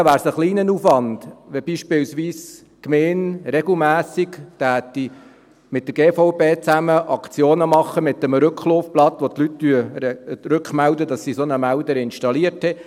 Hingegen wäre es ein kleiner Aufwand, wenn beispielsweise die Gemeinde regelmässig mit der GVB Aktionen mit einem Antworttalon durchführen würde, auf dem die Leute angeben können, dass sie einen solchen Melder installiert haben.